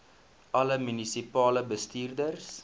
alle munisipale bestuurders